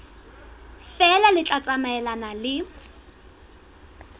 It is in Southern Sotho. feela le tla tsamaelana le